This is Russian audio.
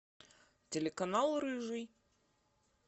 телеканал рыжий